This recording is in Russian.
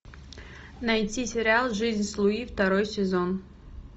найти сериал жизнь с луи второй сезон